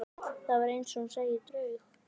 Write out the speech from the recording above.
Það var eins og hún sæi draug.